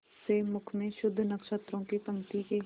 से मुख में शुद्ध नक्षत्रों की पंक्ति के